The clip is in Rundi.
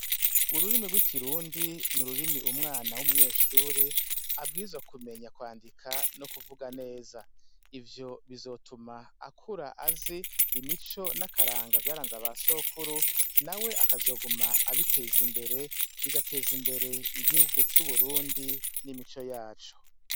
Ururimi rw'ikirundi ni ururimi umwana w'umunyeshure abwirizwa kumenya kwandika no kuvuga neza. Ivyo bizotuma akura azi imico n'akaranga vyaranze abasokuru, nawe akazoguma abiteza imbere, bigateza imbere igihugu c'Uburundi n'imico yaco.